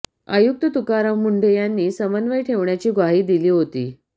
आयुक्त तुकाराम मुंढे यांनी समन्वय ठेवण्याची ग्वाही दिली होती